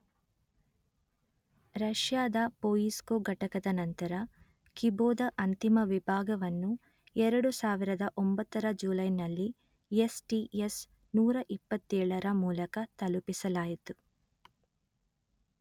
ರಷ್ಯಾದ ಪೊಯಿಸ್ಕೊ ಘಟಕದ ನಂತರ ಕಿಬೋ ದ ಅಂತಿಮ ವಿಭಾಗವನ್ನು ಎರಡು ಸಾವಿರದ ಒಂಭತ್ತರ ರ ಜುಲೈನಲ್ಲಿ ಯೆಸ್_letter-en ಟಿ_letter-en ಯೆಸ್_letter-en ನೂರಾ ಇಪ್ಪತ್ತೇಳರ ಮೂಲಕ ತಲುಪಿಸಲಾಯಿತು